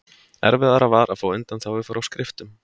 Erfiðara var að fá undanþágu frá skriftum.